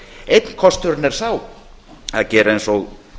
einn kosturinn er sá að gera eins og